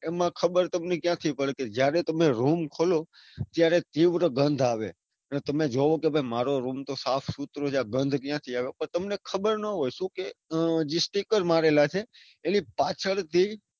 એમાં ખબર તમને ક્યાંથી પડે કે જયારે તમે રૂમ ખોલો ત્યરાએ તીવ્ર ગંધ આવે તમે જોવો કે મારો રૂમ સાફસૂત્રો છે આ ગંધ ક્યાંથી આવે. તમને ખબર ના હોય કે જે sticker મારેલા હોય એની પાછળ થી,